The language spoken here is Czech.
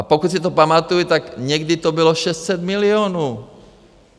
A pokud si to pamatuji, tak někdy to bylo 600 milionů!